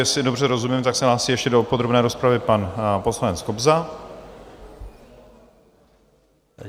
Jestli dobře rozumím, tak se hlásí ještě do podrobné rozpravy pan poslanec Kobza.